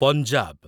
Punjab